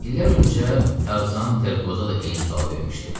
İllər öncə Tarzan Terkoza da eyni sualı vermişdi.